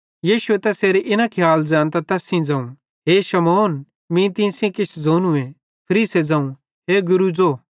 यीशु तैसेरे इन खियाल ज़ैंनतां तैस सेइं ज़ोवं हे शमौन मीं तीं सेइं किछ ज़ोनूए फरीसे ज़ोवं हे गुरू ज़ो